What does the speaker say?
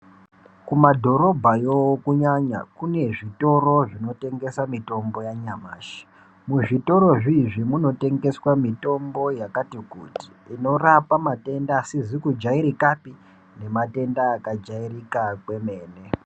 Kumadhorobhayo kunyanya, kune zvitoro zvinotengesa mitombo yanyamashi. Muzvitorozviizvi munotengeswa mitombo yakati kuti, inorapa matenda asizi kujairikapi, nematenda akajairika kwemene.